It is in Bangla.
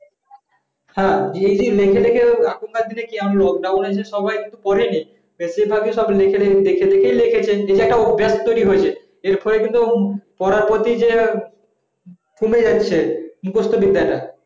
হ্যাঁ এই জি লিখে লিখে এখনকার দিনে কি এই যে lockdown নেই যে সবাইএকটু পড়িনি এই যে সব লিখে দেখে দেখে লিখেছে যেটা একটা অভ্যাস এর তৈরী হয়েছে এই ফলে কিন্তু পড়ার প্রতি যে কমে যাচ্ছে মুখস্ত বিদ্যাতা কমে যাচ্ছে